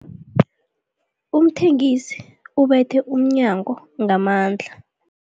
Umthengisi ubethe umnyango ngamandla.